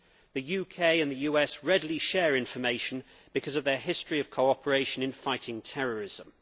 The UK and the US readily share information because of their history of cooperation in fighting terrorism.